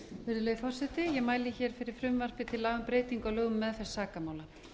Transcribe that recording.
virðulegi forseti ég mæli hér fyrir frumvarpi til laga um breytingu á lögum um meðferð sakamála